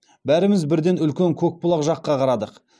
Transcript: бәріміз бірден үлкен көкбұлақ жаққа қарадық